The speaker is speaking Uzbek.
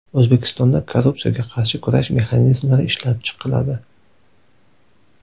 O‘zbekistonda korrupsiyaga qarshi kurash mexanizmlari ishlab chiqiladi.